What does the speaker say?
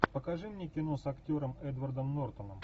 покажи мне кино с актером эдвардом нортоном